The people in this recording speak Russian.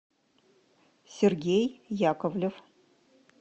сергей яковлев